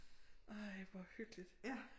Ej hvor hyggeligt